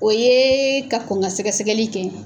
O yee ka kɔn ŋa sɛgɛsɛgɛli kɛ